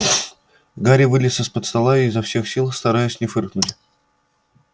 гарри вылез из-под стола и изо всех сил стараясь не фыркнуть